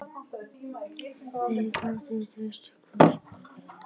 Þeir gátu treyst hvor öðrum.